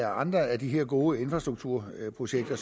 andre af de her gode infrastrukturprojekter